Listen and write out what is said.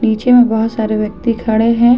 पीछे में बहोत सारे व्यक्ति खड़े हैं।